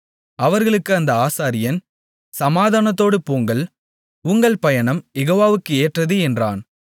அவர்களுக்கு அந்த ஆசாரியன் சமாதானத்தோடு போங்கள் உங்கள் பயணம் யெகோவாவுக்கு ஏற்றது என்றான்